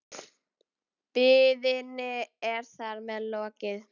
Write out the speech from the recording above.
Biðinni er þar með lokið.